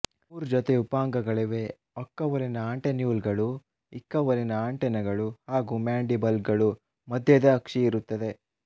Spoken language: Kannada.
ಮೂರು ಜೊತೆ ಉಪಾಂಗಗಳಿವೆ ಒಕ್ಕವಲಿನ ಆಂಟೆನ್ಯೂಲ್ಗಳು ಇಕ್ಕವಲಿನ ಆಂಟೆನಗಳು ಹಾಗೂ ಮ್ಯಾಂಡಿಬಲ್ಗಳು ಮಧ್ಯದ ಅಕ್ಷಿ ಇರುತ್ತವೆ